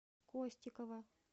костикова